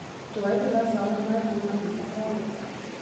To je bila zame najbolj napeta pravljica.